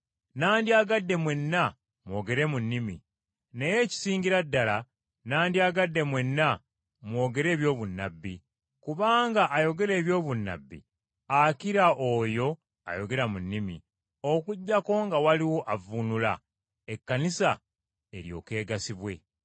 Nandyagadde mwenna mwogere mu nnimi, naye ekisingira ddala nandyagadde mwenna mwogere eby’obunnabbi, kubanga ayogera eby’obunnabbi akira oyo ayogera mu nnimi, okuggyako nga waliwo avvuunula, Ekkanisa eryoke egasibwe.